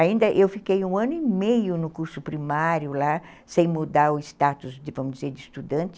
Ainda eu fiquei um ano e meio no curso primário lá, sem mudar o status, vamos dizer, de estudante.